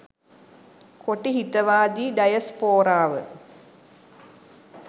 කොටි හිතවාදී ඩයස්‌පෝරාව